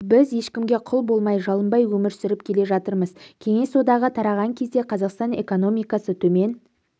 біз ешкімге құл болмай жалынбай өмір сүріп келе жатырмыз кеңес одағы тараған кезде қазақстан экономикасы төмен